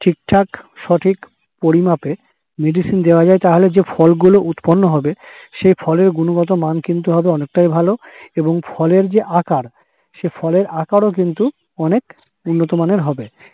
ঠিকঠাক সঠিক পরিমাপে medicine দেওয়া যায় তাহলে যে ফলগুলো উৎপন্ন হবে, সেই ফলের গুণগত মান হবে কিন্তু অনেকটাই ভালো এবং ফলের যে আকার সে ফলের আকারও কিন্তু অনেক উন্নতমানের হবে।